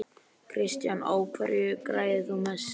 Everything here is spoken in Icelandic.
Kristján: Á hverju græðir þú mest?